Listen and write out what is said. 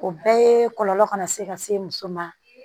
O bɛɛ ye kɔlɔlɔ kana se ka se muso ma